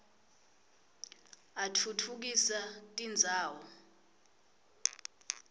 atfutfukisa tindzawo